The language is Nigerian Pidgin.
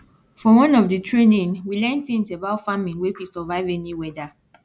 for one of di training we learn tins about farming wey fit survive any weada